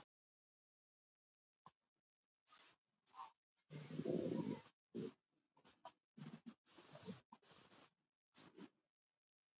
Manfred